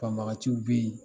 Banbaganciw bɛ yen